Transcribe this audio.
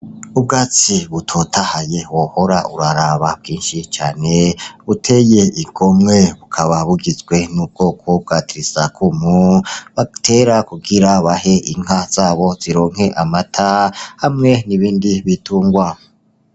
Ubwatsi butotahaye wohora uraraba bwinshi cane buteye igomwe bukaba bugizwe n'ubwoko bwa Tirisakumu batera kugira bahe inka zabo zironke amata, hamwe n'ibindi bitungwa.